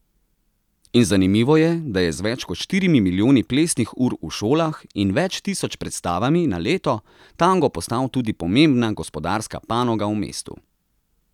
In zanimivo je, da je z več kot štirimi milijoni plesnih ur v šolah in več tisoč predstavami na leto tango postal tudi pomembna gospodarska panoga v mestu.